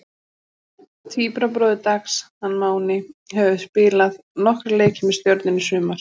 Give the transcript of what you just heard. Tvíburabróðir Dags, hann Máni, hefur spilað nokkra leiki með Stjörnunni í sumar.